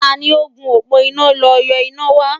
Tani ó gùn òpó iná lọ yọ iná wa?